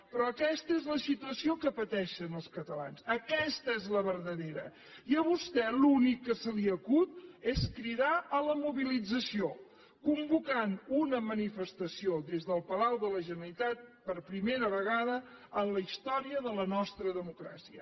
però aquesta és la situació que pateixen els catalans aquesta és la verdadera i a vostè l’únic que se li acut és cridar a la mobilització convocant una manifestació des del palau de la generalitat per primera vegada en la història de la nostra democràcia